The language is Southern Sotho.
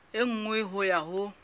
e nngwe ho ya ho